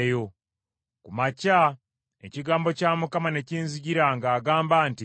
Ku makya, ekigambo kya Mukama ne kinzijira ng’agamba nti,